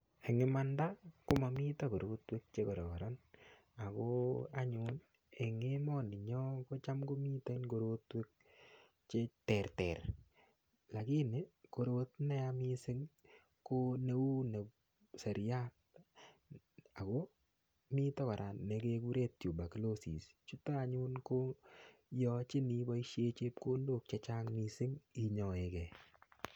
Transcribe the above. Eng' imanda komamito korotwek chekororon ako anyun eng' emoninyo ko cham komiten korotwek cheterter lakini korot neya mising' ko neu seriat ako mito kora nekekure tuberculosis chuto anyun koyochin iboishe chepkondok chechang' mising' inyoekei